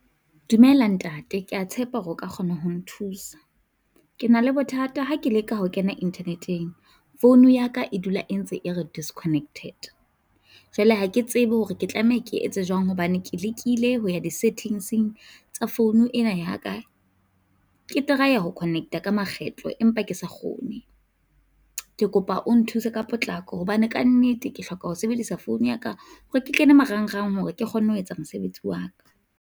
Dumela ntate, ke a tshepa hore o ka kgona ho nthusa, ke na le bothata ha ke leka ho kena internet-eng. Phone ya ka e dula e ntse e re disconnected. Jwale ha ke tsebe hore ke tlameha ke etse jwang hobane ke lekile ho ya di-settings-eng tsa phone ena ya ka. Ke try-a ho connect-a ka makgetlo empa ke sa kgone, ke kopa o nthuse ka potlako hobane kannete ke hloka ho sebedisa phone ya ka hore ke kene marangrang, hore ke kgonne ho etsa mosebetsi wa ka.